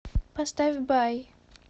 поставь бай